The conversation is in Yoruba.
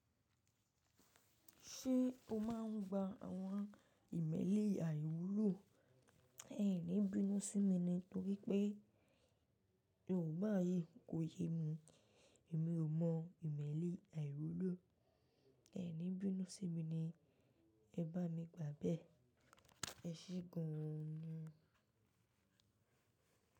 Ṣé o máa ń gba àwọn ìmẹ́lì àìwúlò? Ẹ̀ní bínú sí mi ni torí pé Yorùbá yìí kò yé mi. Èmi ò mọ ìmẹ́lì àìwúlò. Ẹ̀ní bínú sí mi ni, ẹ bá mi gbà bẹ́ẹ̀. Ẹ ṣee gan ni.